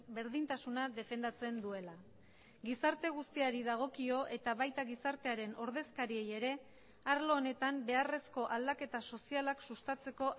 berdintasuna defendatzen duela gizarte guztiari dagokio eta baita gizartearen ordezkariei ere arlo honetan beharrezko aldaketa sozialak sustatzeko